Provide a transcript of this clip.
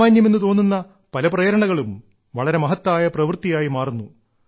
സാമാന്യമെന്നു തോന്നുന്ന പല പ്രേരണകളും വളരെ മഹത്തായ പ്രവൃത്തിയായി മാറുന്നു